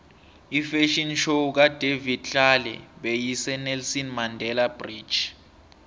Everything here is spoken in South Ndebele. ifafhion show kadavid tlale beyise nelson mandele bridge